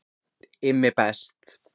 IMMI BEST